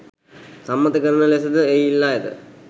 සම්මත කරන ලෙස ද එහි ඉල්ලා ඇත